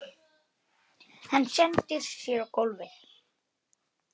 Hendir sér á gólfið.